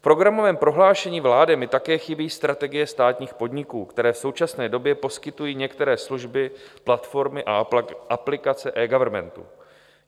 V programovém prohlášení vlády mi také chybí strategie státních podniků, které v současné době poskytují některé služby, platformy a aplikace eGovernmentu.